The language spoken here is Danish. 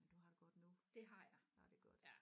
Du har det godt nu ja det er godt